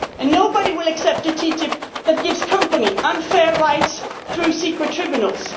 in the future. Nobody will accept a TTIP that gives companies unfair rights through